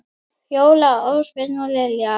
Fjóla, Ásbjörn og Lilja.